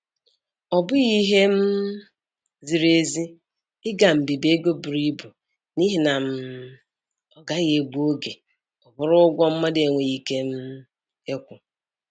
Ọ bụghị ihe um ziri ezi ị ga mbibi ego buru ibu n'ihi na um ọ gaghị egbu oge ọ bụrụ ụgwọ mmadụ enweghị ike um ịkwụ.